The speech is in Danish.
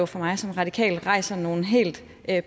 for mig som radikal rejser nogle helt